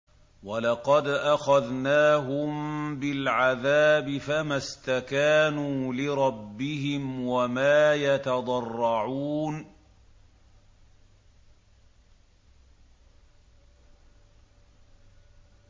وَلَقَدْ أَخَذْنَاهُم بِالْعَذَابِ فَمَا اسْتَكَانُوا لِرَبِّهِمْ وَمَا يَتَضَرَّعُونَ